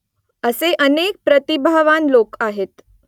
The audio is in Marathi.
असे अनेक प्रतिभावान लोक आहेत